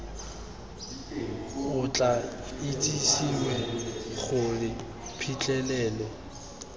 o tla itsisiwe gore phitlhelelo